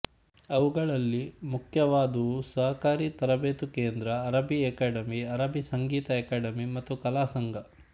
ಅವುಗಳಲ್ಲಿ ಮುಖ್ಯವಾದವು ಸಹಕಾರಿ ತರಬೇತು ಕೇಂದ್ರ ಅರಬ್ಬೀ ಅಕಾಡೆಮಿ ಅರಬ್ಬೀ ಸಂಗೀತ ಅಕಾಡೆಮಿ ಮತ್ತು ಕಲಾಸಂಘ